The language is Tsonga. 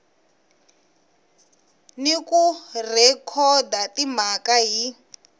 ni ku rhekhoda timhaka hi